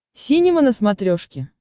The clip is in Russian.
синема на смотрешке